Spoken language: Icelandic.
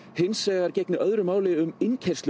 hins vegar gegni öðru máli um innkeyrslu